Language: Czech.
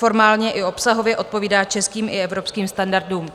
Formálně i obsahově odpovídá českým i evropským standardům.